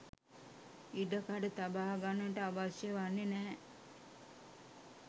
ඉඩකඩ තබාගන්නට අවශ්‍ය වන්නේ නැහැ